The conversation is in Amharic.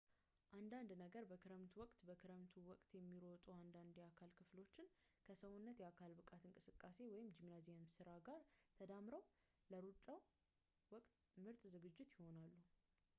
አንዳንድ በክረምቱ ወቅት በክረምቱ ወቅት የሚሮጡ አንዳንድ የአካል ክፍሎች ከሰውነት የአካል ብቃት እንቅስቃሴ ጂምናዚየም ሥራ ጋር ተዳምረው ለሩጫው ወቅት ምርጥ ዝግጅት ናቸው